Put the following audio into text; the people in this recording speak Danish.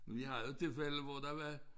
Men vi havde jo tilfælde hvor der var